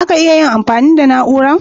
Zaka iya amfani da Na'urar?